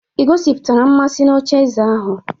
Ị gosipụtara mmasị na ocheeze ahụ?